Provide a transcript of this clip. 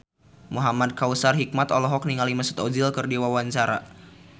Muhamad Kautsar Hikmat olohok ningali Mesut Ozil keur diwawancara